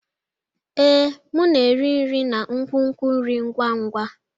Ee, m na-eri nri na nkwonkwo nri ngwa ngwa.